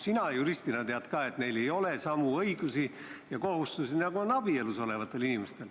Sina juristina tead ka, et neil ei ole samu õigusi ja kohustusi, nagu on abielus olevatel inimestel.